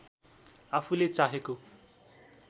आफुले चाहेको